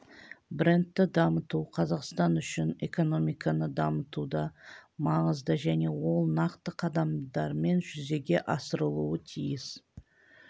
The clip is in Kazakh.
брендті дамыту қазақстан үшін экономиканы дамытуда маңызды және ол нақты қадамдармен жүзеге асырылуы тиіс